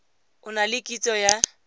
o na le kitso ya